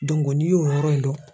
n'i y'o yɔrɔ in dɔn